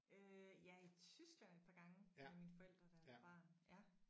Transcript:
Øh ja i Tyskland et par gange med mine forældre da jeg var barn ja